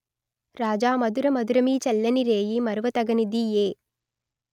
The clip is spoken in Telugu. రాజామధురమధురమీ చల్లని రేయీ మరువతగనిదీ ఎ